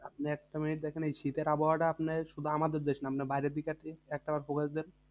আপনি একটা মিনিট দেখেন এই শীতের আবহাওয়াটা আপনি শুধু আমাদের দেশে না মানে বাইরের দিক আছে। একটা বার